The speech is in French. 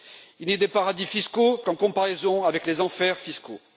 Il n'existe des paradis fiscaux qu'en comparaison avec les enfers fiscaux